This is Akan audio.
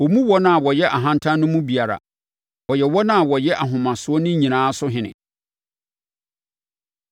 Ɔmmu wɔn a wɔyɛ ahantan no mu biara; ɔyɛ wɔn a wɔyɛ ahomasoɔ no nyinaa so ɔhene.”